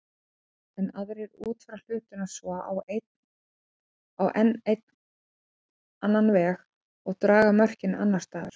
Enn aðrir útfæra hlutina svo á enn annan veg og draga mörkin annars staðar.